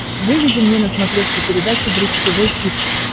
выведи мне на смотрешке передачу бридж тв хитс